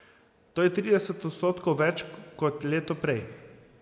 To je trideset odstotkov več kot leto prej.